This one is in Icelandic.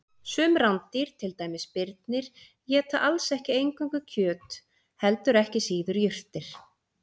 Sum rándýr, til dæmis birnir, éta alls ekki eingöngu kjöt heldur ekki síður jurtir.